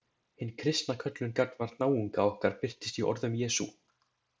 Hin kristna köllun gagnvart náunga okkar birtist í orðum Jesú.